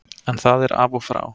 En það er af og frá.